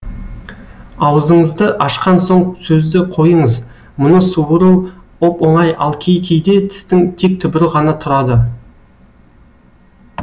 аузыңызды ашқан соң сөзді қойыңыз мұны суыру оп оңай ал кей кейде тістің тек түбірі ғана тұрады